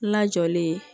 Lajɔlen